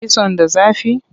Kitson da zafi?